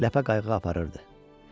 Ləpə qayığı aparırdı.